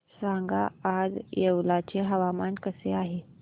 सांगा आज येवला चे हवामान कसे आहे